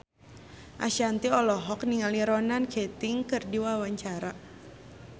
Ashanti olohok ningali Ronan Keating keur diwawancara